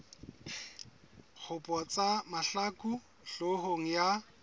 dikgopo tsa mahlaku hloohong ya